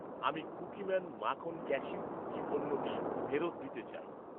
আমি কুকিম্যান মাখন cashew cookie পণ্যটি ফেরত দিতে চাই।